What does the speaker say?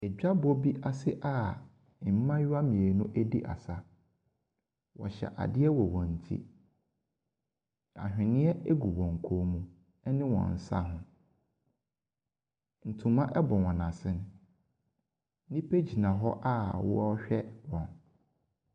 Adwabɔ bi ase a mmaayewa mmienu redu asa. Wɔhyɛ adeɛ wɔ wɔn ti. Ahwenneɛ gu wɔn kɔn mu ne wɔn nsa ho. Ntoma bɔ wɔn asene. Nnipa gyina hɔ a wɔrehwɛ wɔn.